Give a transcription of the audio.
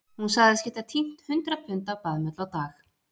Hún sagðist geta tínt hundrað pund af baðmull á dag